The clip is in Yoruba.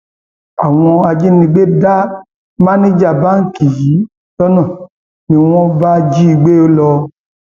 àwọn ajínigbé dá bòméjà báǹkì yìí lọnà ni wọn bá jí i gbé lọ